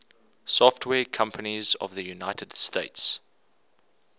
software companies of the united states